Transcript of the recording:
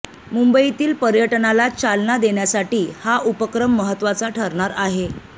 मुंबईतील पर्यटनाला चालना देण्यासाठी हा उपक्रम महत्त्वाचा ठरणार आहे